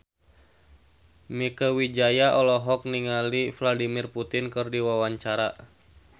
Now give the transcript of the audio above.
Mieke Wijaya olohok ningali Vladimir Putin keur diwawancara